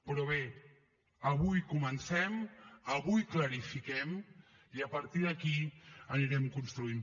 però bé avui comencem avui clarifiquem i a partir d’aquí anirem construint